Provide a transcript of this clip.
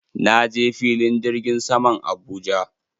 Na je filin jirgin saman Abuja.